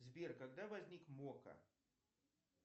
сбер когда возник мокко